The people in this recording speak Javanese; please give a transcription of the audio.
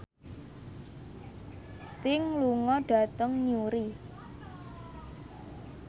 Sting lunga dhateng Newry